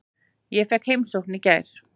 Ég fékk heimsókn í gær.